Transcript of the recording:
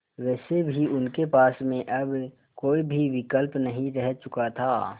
वैसे भी उनके पास में अब कोई भी विकल्प नहीं रह चुका था